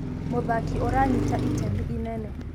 mũthaki ũranyita itemi rĩene